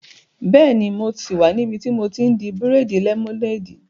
Bẹ́ẹ̀ni, mo sì wà níbi tí mo ti n di bírèèdì lẹ́mọ́néèdì